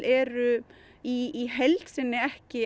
eru í heild sinni ekki